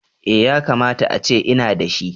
Eh. Yakamata ace ina da shi